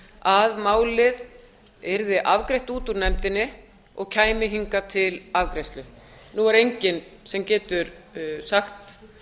að málið yrði afgreitt út úr nefndinni og kæmi hingað til afgreiðslu nú er enginn sem getur sagt